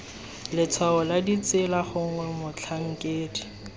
letshwao la tsela gongwe motlhankedi